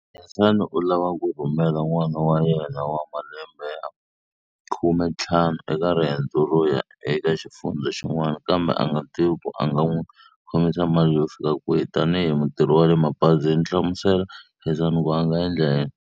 Khensani u lava ku rhumela n'wana wa yena wa malembe ya khumentlhanu eka riendzo ro ya eka xifundza xin'wana kambe a nga tivi ku a nga n'wi khomisa mali yo fika kwihi. Tanihi mutirhi wa le mabazini hlamusela Khensani ku a nga endla yini.